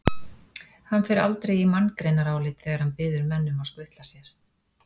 Hann fer aldrei í manngreinarálit þegar hann biður menn um að skutla sér.